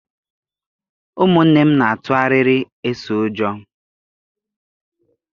Ụmụnne m n'atu arịrị eso ụjọ.